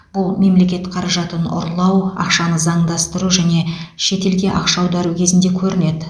бұл мемлекет қаражатын ұрлау ақшаны заңдастыру және шетелге ақша аудару кезінде көрінеді